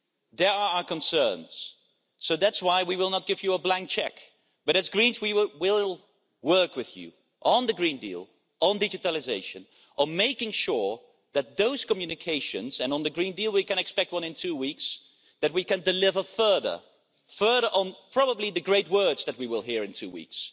They are our concerns, so that's why we will not give you a blank cheque, but as Greens we will work with you on the Green Deal, on digitalisation, on making sure that in those communications and on the Green Deal we can expect one in two weeks we can deliver further, further on probably the great words that we will hear in two weeks.